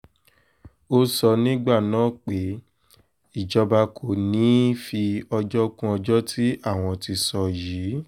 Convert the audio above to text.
ó sọ nígbà náà pé ìjọba kò ní í fi ọjọ́ kún ọjọ́ tí àwọn ti sọ yìí